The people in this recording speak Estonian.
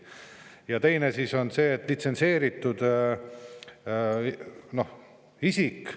Ja teine alus on see, et olgu litsentseeritud isik …